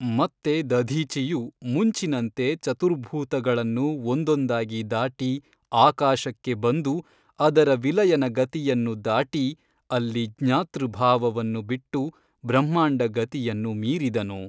ಮತ್ತೆ ದಧೀಚಿಯು ಮುಂಚಿನಂತೆ ಚತುರ್ಭೂತಗಳನ್ನು ಒಂದೊಂದಾಗಿ ದಾಟಿ ಆಕಾಶಕ್ಕೆ ಬಂದು ಅದರ ವಿಲಯನ ಗತಿಯನ್ನು ದಾಟಿ ಅಲ್ಲಿ ಜ್ಞಾತೃ ಭಾವವನ್ನು ಬಿಟ್ಟು ಬ್ರಹ್ಮಾಂಡಗತಿಯನ್ನು ಮೀರಿದನು.